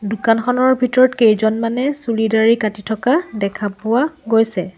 দোকানখনৰ ভিতৰত কেইজনমানে চুলি দাড়ি কাটি থকা দেখা পোৱা গৈছে।